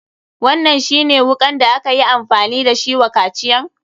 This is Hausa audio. Wannan shi ne wukan da akayi amfani da shi wa kaciyan?